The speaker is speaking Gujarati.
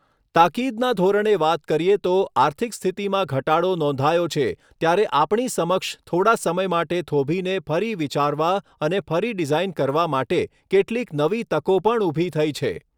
તાકીદના ધોરણે વાત કરીએ તો આર્થિક સ્થિતિમાં ઘટાડો નોંધાયો છે ત્યારે આપણી સમક્ષ થોડા સમય માટે થોભીને ફરી વિચારવા અને ફરી ડિઝાઇન કરવા માટે કેટલીક નવી તકો પણ ઊભી થઈ છે.